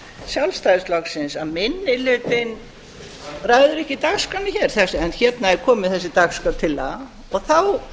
sjálfstæðisflokksins að minni hlutinn ræður ekki dagskránni hér en hérna er komin þessi dagskrártillaga þá er